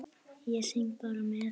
Ég syng bara með.